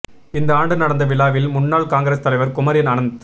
இந்த ஆண்டு நடந்த விழாவில் முன்னாள் காங்கிரஸ் தலைவர் குமரி அனந்